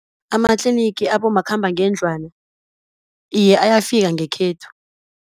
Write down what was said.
Amatlinigi abomakhambangendlwana iye ayafika ngekhethu.